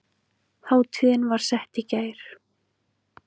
Hátíðin var sett í gær